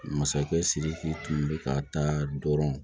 Masakɛ sidiki tun bɛ ka taa dɔrɔn